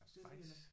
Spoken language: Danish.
Bajsen